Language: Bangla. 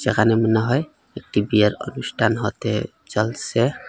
এখানে মনে হয় একটি বিয়ের অনুষ্ঠান হতে চলসে।